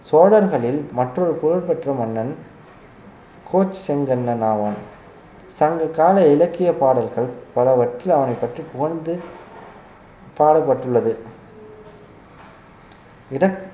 சோழர்களில் மற்றொரு புகழ் பெற்ற மன்னன் கோச்செங்கண்ணன் ஆவான் சங்க கால இலக்கியப் பாடல்கள் பலவற்றில் அவனைப் பற்றி புகழ்ந்து பாடப்பட்டுள்ளது இட~